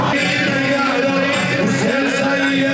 Heydər, Heydər, Hüseyn, Seyyid!